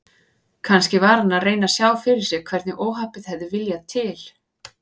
Kannski var hann að reyna að sjá fyrir sér hvernig óhappið hafði viljað til.